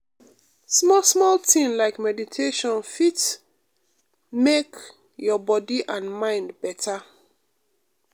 small-small thing like meditation fit um make um your body and mind better.